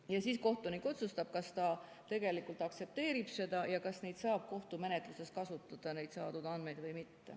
Ja siis kohtunik otsustab, kas ta tegelikult aktsepteerib seda ja kas neid andmeid saab kohtumenetluses kasutada või mitte.